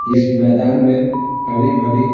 इस मैदान में हरी-भरी--